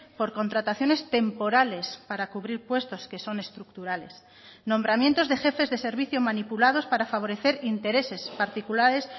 por contrataciones temporales para cubrir puestos que son estructurales nombramientos de jefes de servicio manipulados para favorecer intereses particulares